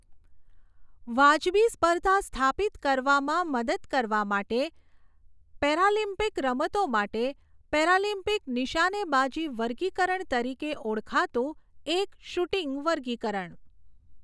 વાજબી સ્પર્ધા સ્થાપિત કરવામાં મદદ કરવા માટે, પેરાલિમ્પિક રમતો માટે પેરાલિમ્પિક નિશાનેબાજી વર્ગીકરણ તરીકે ઓળખાતું એક શૂટિંગ વર્ગીકરણ.